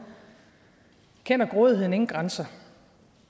kender grådigheden ingen grænser